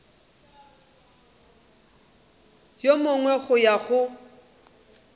yo mongwe go ya go